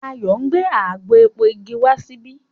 Ayo ngbé àgbò èpo ìgi wá síbí.